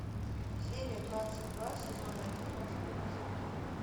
серия двадцать два сезон один острые козырьки